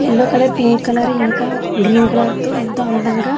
yellow colour pink colour ఇంక green colour ఏంతో అందంగా --